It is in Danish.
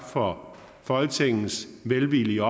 for folketingets velvillige